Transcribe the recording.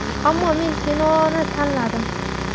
Ammo men kinoni tanladim.